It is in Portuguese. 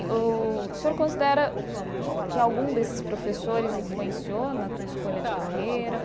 O senhor considera que algum desses professores influenciou na tua escolha de carreira?